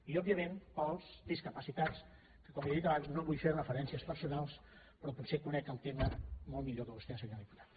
i òbviament per als discapacitats que com li he dit abans no vull fer referències personals però potser conec el tema molt millor que vostè senyor diputat